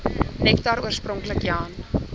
nektar oorspronklik jan